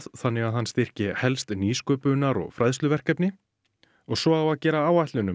þannig að hann styrki helst nýsköpunar og fræðsluverkefni og svo á að gera áætlun um